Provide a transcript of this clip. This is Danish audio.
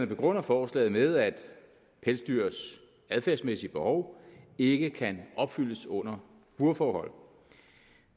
begrunder forslaget med at pelsdyrs adfærdsmæssige behov ikke kan opfyldes under burforhold